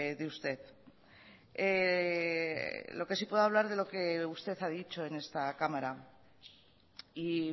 de usted lo que sí puedo hablar es de lo que usted ha dicho en esta cámara y